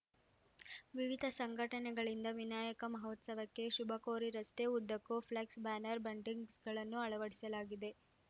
ವಿವಿಧ ಸಂಘಟನೆಗಳಿಂದ ವಿನಾಯಕ ಮಹೋತ್ಸವಕ್ಕೆ ಶುಭಕೋರಿ ರಸ್ತೆ ಉದ್ದಕ್ಕೂ ಫ್ಲೆಕ್ಸ್‌ ಬ್ಯಾನರ್‌ ಬಂಟಿಂಗ್ಸ್‌ಗಳನ್ನು ಅಳವಡಿಸಲಾಗಿದೆ